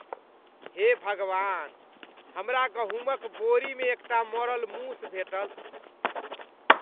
हे भगवान! हमरा गहुमक बोरीमे एकटा मरल मूस भेटल।